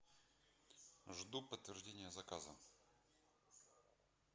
жду подтверждения заказа